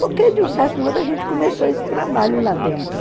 Porque, de um certo modo, a gente começou esse trabalho lá dentro.